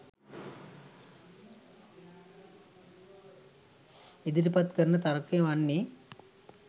ඉදිරිපත් කරන තර්කය වන්නේ